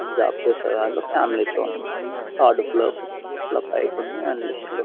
and job చేసేవాళ్ళు family తో ఉంటూ థర్డ్ ఫ్లోర్ ఫిఫ్త్ ఫ్లోర్ ల పైకి ఉంటూ అండ్ లిఫ్టు లో--